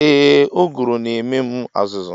Ee uguru na ememu azuzu.